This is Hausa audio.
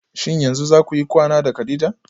Shin yanzu zakuyi kwana da kadija?